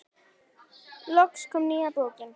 Loks kom nýja bókin.